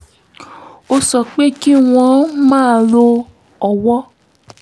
ó sọ pé kí wọ́n máa lo owó